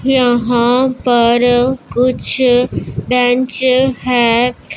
यहां पर कुछ बेंच है।